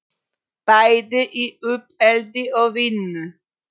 Bæði í uppeldi og vinnu.